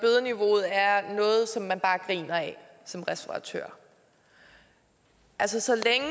bare griner af som restauratør altså så længe